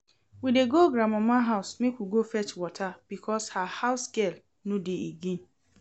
We dey go grandmama house make we go fetch water because her housegirl no dey again